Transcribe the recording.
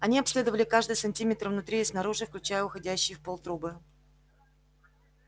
они обследовали каждый сантиметр внутри и снаружи включая уходящие в пол трубы